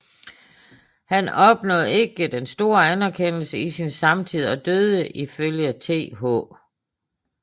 Han opnåede ikke den store anerkendelse i sin samtid og døde ifølge Th